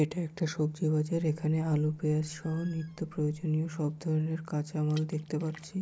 এটা একটা সবজি বাজার এখানে আলু পেঁয়াজ সব নিত্য প্রয়োজনীয় সবধরনের কাঁচামাল দেখতে পাচ্ছি।